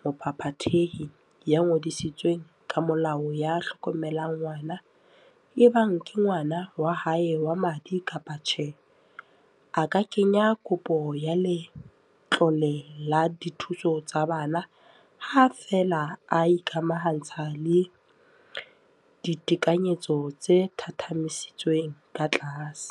mophaphathehi ya ngodisitsweng ka molao ya hlokomelang ngwana, ebang ke ngwana wa hae wa madi kapa tjhe, a ka kenya kopo ya letlole la dithuso tsa bana, ha feela a ikamahantsha le ditekanyetso tse thathamisitsweng ka tlase.